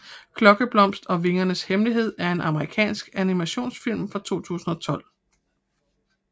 Klokkeblomst og vingernes hemmelighed er en amerikansk animationsfilm fra 2012